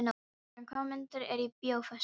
Sæbjörn, hvaða myndir eru í bíó á föstudaginn?